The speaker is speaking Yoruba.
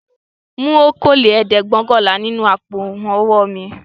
Mú okòólẹ́ẹ̀dẹ́gbẹ̀ọ̀kànlá nínú àpò-owó mi!